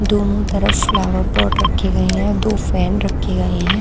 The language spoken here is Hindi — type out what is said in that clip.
दोनों तरफ फ्लावर पॉट रखे गए हैं दो फैन रखे गए हैं।